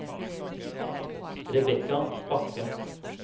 Rebekka Bakke